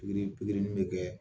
Ni pikiri nin bɛ kɛ